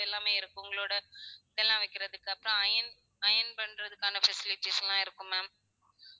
எல்லாமே இருக்கும் உங்களோட இதெல்லாம் வைக்குறதுக்கு அப்புறம் iron iron பண்றதுக்கான facilities லாம் இருக்கும் ma'am